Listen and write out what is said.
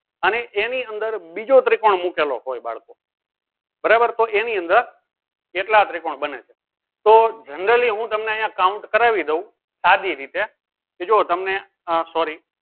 અને એની અંદર બીજો ત્રિકોણ મુકેલો હોય બાળકો બરાબર તો એની અંદર કેટલા ત્રિકોણ બને છે? તો generally હું તમને હું તમને અહિયાં count કરાવી દઉં સદી રીતે કે જોવો તમને આહ sorry